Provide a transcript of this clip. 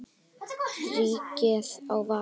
Ríkið á val.